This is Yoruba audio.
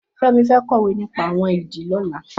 Femi fẹ̀ kọwé nipà awọn idì lọ̀lá